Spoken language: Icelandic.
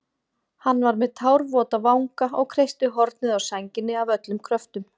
Hann var með tárvota vanga og kreisti hornið á sænginni af öllum kröftum.